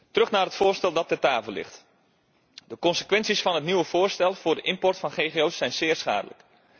Terug naar het voorstel dat ter tafel ligt. De consequenties van het nieuwe voorstel voor de import van ggo's zijn zeer schadelijk.